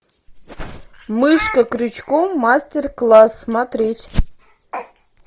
мышка крючком мастер класс смотреть